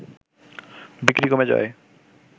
বিক্রি কমে যাওয়ায়